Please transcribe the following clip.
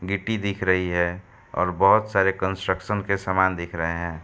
गिट्टी दिख रही है और बोहोत सारे कंस्ट्रक्शन के सामान दिख रहे हैं।